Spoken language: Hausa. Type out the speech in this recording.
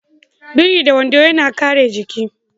Biri da wando yana kare jiki.